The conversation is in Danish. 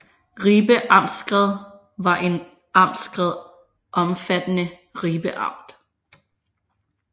Ribe Amtskreds var en amtskreds omfattende Ribe Amt